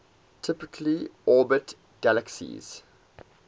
typically orbit galaxies